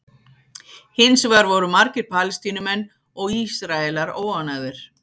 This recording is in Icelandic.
hins vegar voru margir palestínumenn og ísraelar óánægðir